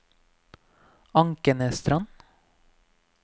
Ankenesstrand